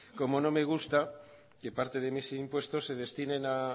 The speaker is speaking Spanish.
como no me gusta que parte de mis impuestos se destinen a